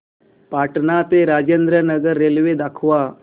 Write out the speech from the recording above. पटणा ते राजेंद्र नगर रेल्वे दाखवा